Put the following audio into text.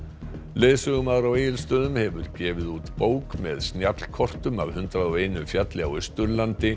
leiðsögumaður á Egilsstöðum hefur gefið út bók með snjallkortum af hundrað og einum fjalli á Austurlandi